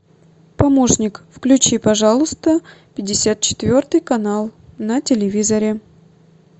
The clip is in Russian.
помощник включи пожалуйста пятьдесят четвертый канал на телевизоре